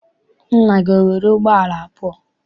Nna gị enwere ụgbọala abụọ?